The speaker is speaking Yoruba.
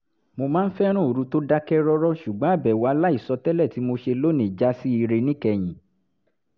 mo máa ń fẹ́ràn òru tó dákẹ́ rọ́rọ́ ṣùgbọ́n àbẹ̀wò aláìsọ tẹ́lẹ̀ tí mo ṣe lónìí já sí ire níkẹyìn